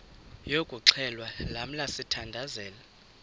yokuxhelwa lamla sithandazel